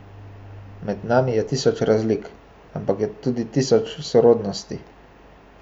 Med nami je tisoč razlik, ampak je tudi tisoč sorodnosti.